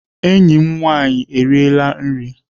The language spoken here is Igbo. Enyi m nwaanyị eriela nri.